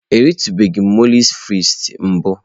Ọ eritụbeghị mọulsị frịts mbụ.